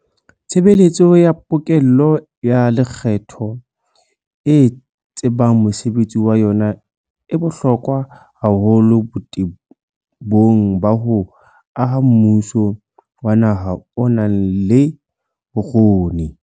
Tshebeletso ya pokello ya lekgetho e tsebang mosebetsi wa yona e bohlokwa haholo botebong ba ho aha mmuso wa naha o nang le bokgoni.